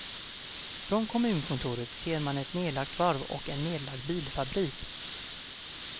Från kommunkontoret ser man ett nedlagt varv och en nedlagd bilfabrik.